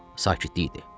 Sakitlik idi.